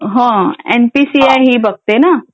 हा M P C I ही बघते ना?